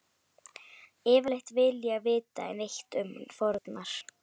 Yfirleitt vil ég ekki vita neitt um fórnar